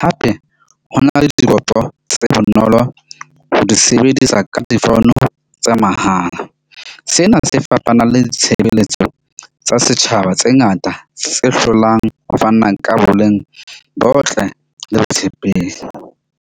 Hape ho na le tse bonolo ho di sebedisa ka di-phone tsa mahala. Sena se fapana le ditshebeletso tsa setjhaba tse ngata tse hlolang ho fana ka boleng bo botle le botshepehi.